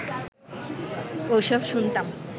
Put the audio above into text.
ওসব শুনতাম